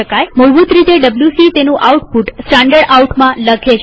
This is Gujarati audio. મૂળભૂત રીતે ડબ્લ્યુસી તેનું આઉટપુટ standardoutમાં લખે છે